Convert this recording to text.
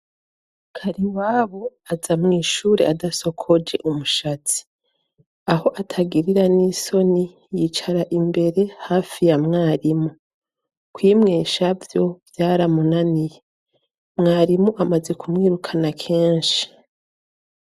Kariwabo aza mw'ishure adasokoje umushatsi. Aho atagirira n'isoni, yicara imbere hafi ya mwarimu, kwimwesha vyo vyaramunaniye. Mwarimu amaze kumwirukana kenshi.